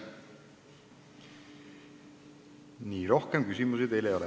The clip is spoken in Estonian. Rohkem küsimusi teile ei ole.